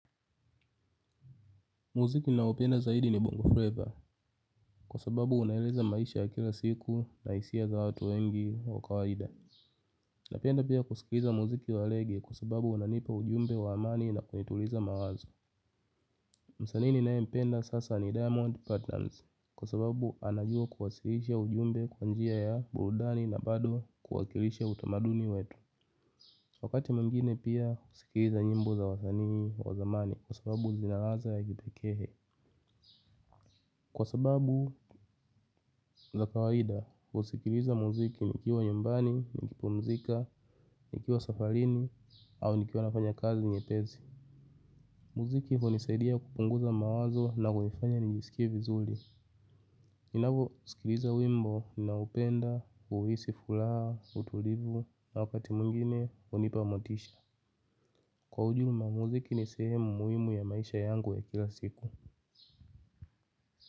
Muziki ninaoupenda zaidi ni bongo flavor kwa sababu unaeleza maisha ya kila siku na hisia za watu wengi wa kawaida. Napenda pia kusikiza muziki wa rege kwa sababu unanipa ujumbe wa amani na kunituliza mawazo. Msanii ninayempenda sasa ni diamond platinumz kwa sababu anajua kuwasilisha ujumbe kwa njia ya burudani na bado kuwakilisha utamaduni wetu. Wakati mwingine pia husikiza nyimbo za wasanii wa zamani kwa sababu zina ladha ya kipekee. Kwa sababu za kawaida husikiliza muziki nikiwa nyumbani, nikipumzika, nikiwa safarini, au nikiwa nafanya kazi nyepesi. Muziki hunisaidia kupunguza mawazo na hunifanya nijisikie vizuri. Ninapousikiliza wimbo ninaupenda, huisi furaha, utulivu, na wakati mwingine hunipa motisha. Kwa ujumla muziki ni sehemu muhimu ya maisha yangu ya kila siku.